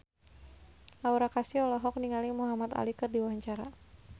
Aura Kasih olohok ningali Muhamad Ali keur diwawancara